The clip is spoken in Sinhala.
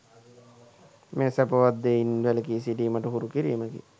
මෙය සැපවත් දෙයින් වැළකී සිටීමට හුරු කිරීමකි.